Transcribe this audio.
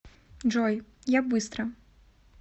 джой я быстро